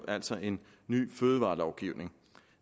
altså en ny fødevarelovgivning